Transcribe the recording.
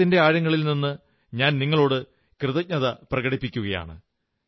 ഹൃദയത്തിന്റെ ആഴങ്ങളിൽ നിന്ന് ഞാൻ നിങ്ങളോട് കൃതജ്ഞത പ്രകടിപ്പിക്കയാണ്